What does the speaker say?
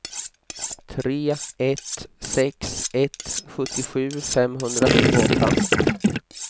tre ett sex ett sjuttiosju femhundratjugoåtta